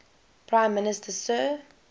prime minister sir